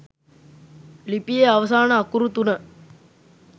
ලිපියේ අවසාන අකුරු තුන